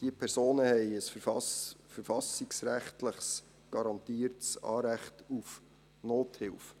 Diese Personen haben ein verfassungsrechtlich garantiertes Recht auf Nothilfe.